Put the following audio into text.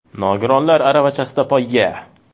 Nogironlar aravachasida poyga.